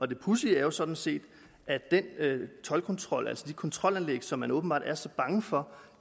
det pudsige er sådan set at den toldkontrol altså de kontrolanlæg som man åbenbart er så bange for